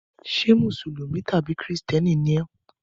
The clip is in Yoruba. Ṣé Mùsùlùmí tàbí Kìrìtẹ́ẹ́nì ni ọ́?